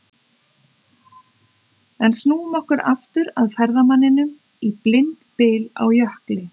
En snúum okkur aftur að ferðamanninum í blindbyl á jökli.